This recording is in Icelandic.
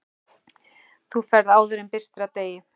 Þú ferð áður en birtir af degi.